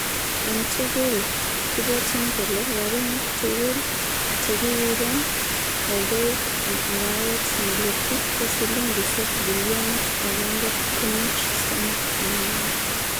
En tugul, kibwotyin kele rabinik tugul chekikiiben oldoik en arawet ne letu ko silingisiek bilionit agenge kunuch somok angwan.